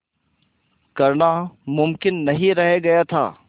करना मुमकिन नहीं रह गया था